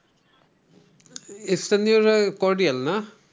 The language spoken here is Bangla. স্থানীয়রা cordial না?